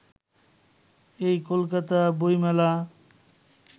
এই কলকাতা-বইমেলা